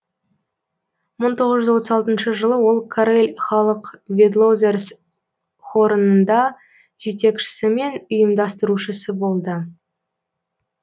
мың тоғыз жүз отыз алтыншы жылы ол карель халық ведлозерс хорыныңда жетекшісі мен ұйымдаструшысы болды